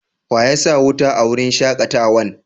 Wa ya sa wuta a wurin shakatawan?